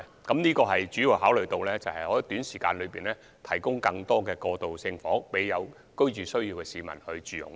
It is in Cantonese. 我們主要考慮的，是希望在短時間內提供更多過渡性房屋予有居住需要的市民住用。